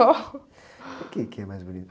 O quê que é mais bonito?